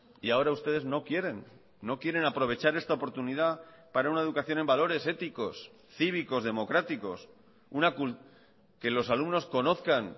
y ahora ustedes no quieren no quieren aprovechar esta oportunidad para una educación en valores éticos cívicos democráticos que los alumnos conozcan